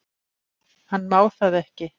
Hann má það ekki.